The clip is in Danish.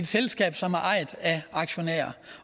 selskab som er ejet af aktionærer